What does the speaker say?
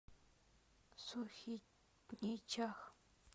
сухиничах